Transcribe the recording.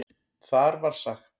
Þar var sagt